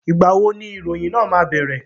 Ìgbà wo ni ìròyìn náà máa bẹ̀rẹ̀?